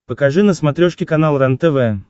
покажи на смотрешке канал рентв